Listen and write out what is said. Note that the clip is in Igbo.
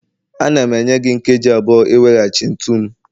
Ana m enye gị nkeji abụọ iweghachi ntu m